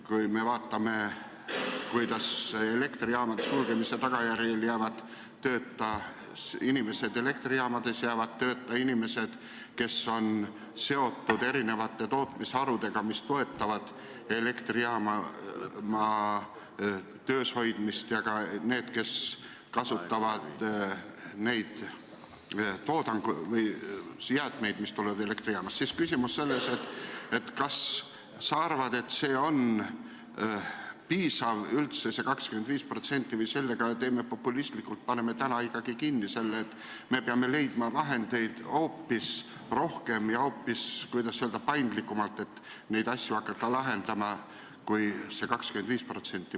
Kui me vaatame, kuidas elektrijaamade sulgemise tagajärjel jäävad tööta inimesed elektrijaamades, jäävad tööta inimesed, kes on seotud erinevate tootmisharudega, mis toetavad elektrijaama töös hoidmist, ja ka need, kes kasutavad oma töös neid jäätmeid, mis tulevad elektrijaamast, siis kas sa arvad, et see 25% on üldse piisav või on see populistlik ja me peaksime leidma hoopis rohkem vahendeid kui see 25% ja hoopis, kuidas öelda, paindlikumalt neid asju hakkama lahendama?